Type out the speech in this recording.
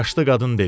Yaşlı qadın dedi: